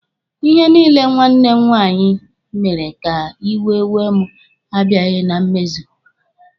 Ihe niile nwanne m nwaanyị mere ka iwe wee mụ abiaghi na mmezu.